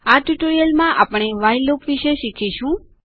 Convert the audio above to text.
આ ટ્યુટોરીયલમાં આપણે વ્હાઇલ લૂપ વિશે શીખીશું